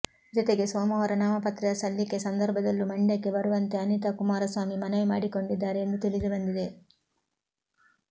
ಜೊತೆಗೆ ಸೋಮವಾರ ನಾಮಪತ್ರ ಸಲ್ಲಿಕೆ ಸಂದರ್ಭದಲ್ಲೂ ಮಂಡ್ಯಕ್ಕೆ ಬರುವಂತೆ ಅನಿತಾ ಕುಮಾರಸ್ವಾಮಿ ಮನವಿ ಮಾಡಿಕೊಂಡಿದ್ದಾರೆ ಎಂದು ತಿಳಿದು ಬಂದಿದೆ